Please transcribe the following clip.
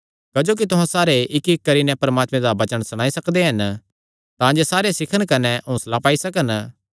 क्जोकि तुहां सारे इक्कइक्क करी नैं परमात्मे दा वचन सणाई सकदे हन तांजे सारे सीखन कने हौंसला पाई सकन